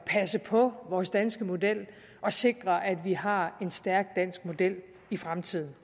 passe på vores danske model og sikre at vi har en stærk dansk model i fremtiden